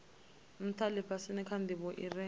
ntha lifhasini kha ndivho ire